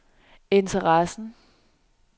interessen